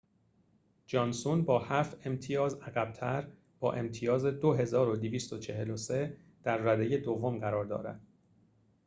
جانسون با هفت امتیاز عقب‌تر با امتیاز ۲,۲۴۳ در رده دوم قرار دارد